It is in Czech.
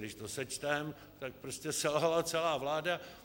Když to sečteme, tak prostě selhala celá vláda.